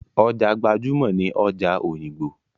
Ọjà gbajúmọ̀ ni ọjà òyìngbò.